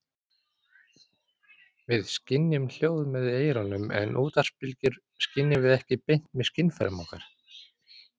Við skynjum hljóð með eyrunum en útvarpsbylgjur skynjum við ekki beint með skynfærum okkar.